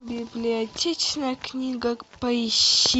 библиотечная книга поищи